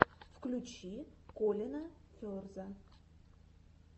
включи колина ферза